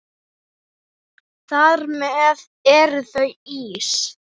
Þar með eru þau ís